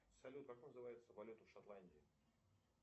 салют как называется валюта в шотландии